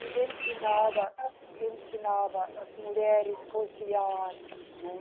E ensinava, ensinava as mulheres cozinhar, né?